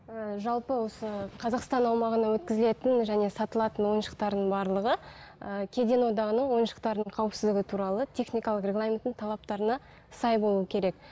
ііі жалпы осы қазақстан аумағына өткізелетін және сатылатын ойыншықтардың барлығы ыыы кеден одағының ойыншықтардың қауіпсіздігі туралы техникалық регламентінің талаптарына сай болуы керек